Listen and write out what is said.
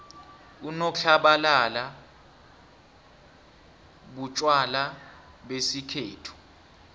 unotlabalala butjwala besikhethu